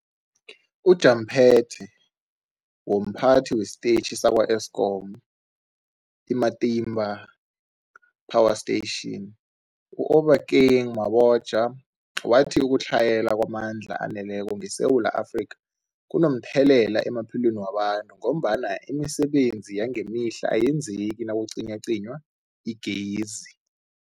UmJaphethe womPhathi wesiTetjhi sakwa-Eskom i-Matimba Power Station u-Obakeng Mabotja wathi ukutlhayela kwamandla aneleko ngeSewula Afrika kunomthelela emaphilweni wabantu ngombana imisebenzi yangemihla ayenzeki nakucinywacinywa igezi.